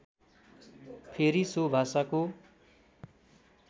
फेरि सो भाषाको